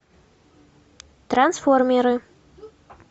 трансформеры